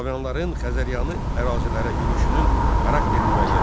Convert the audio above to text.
Slaviyalıların Xəzəryanı ərazilərə yürüşünün xarakterini müəyyən et.